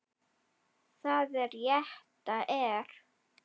Það rétta er.